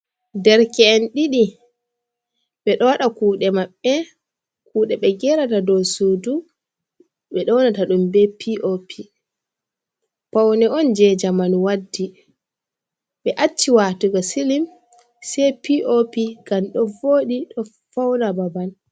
derke’en didi be do wada kude maɓbe. Kude be gerata dow sudu. Be do wanata dum be P.O.P, paune on je jamanu waddi be acci watugo silim se P.O.P gam do vodi. Ɗo fauna babal.